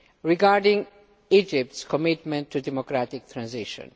regarding Egypt's commitment to democratic transition.